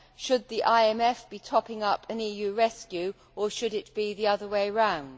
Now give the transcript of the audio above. Should the IMF be topping up an EU rescue, or should it be the other way round?